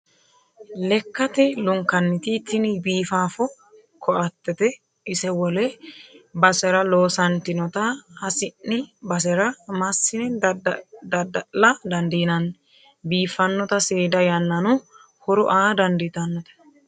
Lekkate lunkanniti tini biifafo koatete ise wole basera loossatinotta hasi'ni basera massine dadda'la dandiinanni biifanote seeda yannano horo aa dandiittanote.